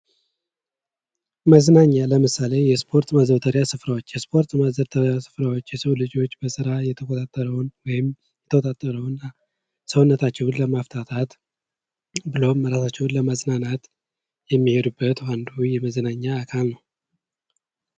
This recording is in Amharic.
መዝናኛ ለምሳሌ የስፖርት ማዘውተሪያ ስፍራዎች የስፖርት ማዘውተሪያ ስፍራዎች የሰው ልጆች ከስራ የተኮሳተረውን ወይም የተወጣጠረውን ሰውነታቸውን ለማፍታታት ብሎም ራሳቸውን ለማዝናናት የሚሄዱበት አንዱ የመዝናኛ አካል ነው።